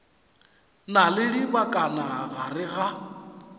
na le dibakana gare ga